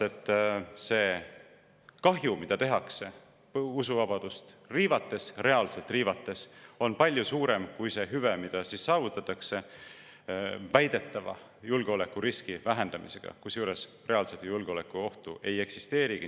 See kahju, mida tehakse usuvabadust riivates – reaalselt riivates –, on palju suurem kui see hüve, mis saavutatakse väidetava julgeolekuriski vähendamisega, kusjuures reaalset julgeolekuohtu ei eksisteerigi.